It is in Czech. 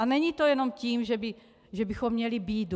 A není to jenom tím, že bychom měli bídu.